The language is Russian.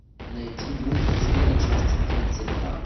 найди мульт измены часть тридцать два